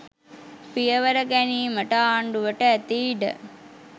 පියවර ගැනීමට ආණ්ඩුවට ඇති ඉඩ